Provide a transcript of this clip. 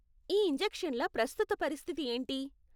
ఈ ఇంజెక్షన్ల ప్రస్తుత పరిస్థితి ఏంటి?